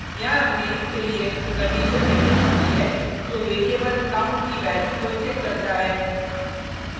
यहाँ हमने if के लिए कंडिशन निर्दिष्ट की है जो वैरिएबल count की वैल्यू को चेक करता है